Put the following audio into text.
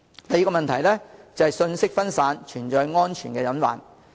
第二，信息分散，存在安全隱患。